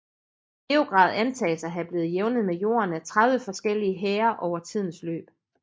Beograd antages at have blevet jævnet med jorden af 30 forskellige hære over tidens løb